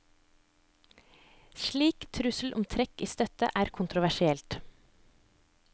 Slik trussel om trekk i støtte er kontroversielt.